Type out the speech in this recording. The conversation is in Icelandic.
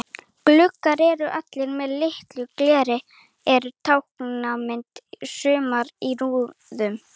Gluggar eru allir með lituðu gleri og eru táknmyndir í sumum í rúðum.